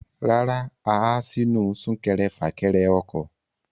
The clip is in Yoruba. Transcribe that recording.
Rárá, a há sínú súnkẹrẹfàkẹrẹ ọkọ̀.